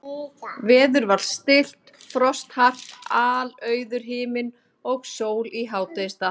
Veður var stillt, frost hart, alauður himinn og sól í hádegisstað.